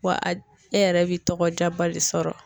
Wa a e yɛrɛ bi tɔgɔjaba de sɔrɔ